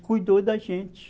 cuidou da gente.